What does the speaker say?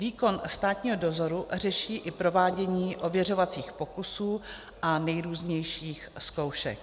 Výkon státního dozoru řeší i provádění ověřovacích pokusů a nejrůznějších zkoušek.